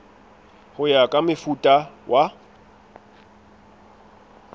ho ya ka mofuta wa